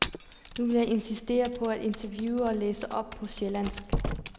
Nu vil jeg insistere på at interviewe og læse op på sjællandsk.